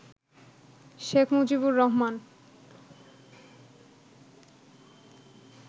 Sheikh Mujibur Rahman